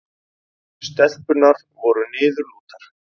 Stelpurnar voru niðurlútar.